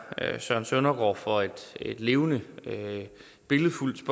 søren søndergaard for et levende